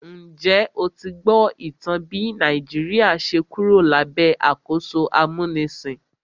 Njẹ́ o ti gbọ́ ìtàn bí Nàìjíríà ṣe Kúrò lábẹ́ àkóso amúnisìn?